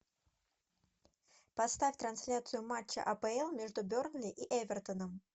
поставь трансляцию матча апл между бернли и эвертоном